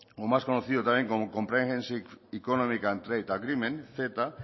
más conocido también como comprehensive economic and trade agreement ceta